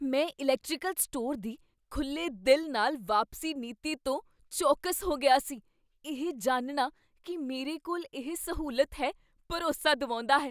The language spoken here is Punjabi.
ਮੈਂ ਇਲੈਕਟ੍ਰੀਕਲ ਸਟੋਰ ਦੀ ਖੁੱਲ੍ਹੇ ਦਿਲ ਨਾਲ ਵਾਪਸੀ ਨੀਤੀ ਤੋਂ ਚੌਕਸ ਹੋ ਗਿਆ ਸੀ, ਇਹ ਜਾਣਨਾ ਕੀ ਮੇਰੇ ਕੋਲ ਇਹ ਸਹੂਲਤ ਹੈ, ਭਰੋਸਾ ਦਿਵਾਉਂਦਾ ਹੈ।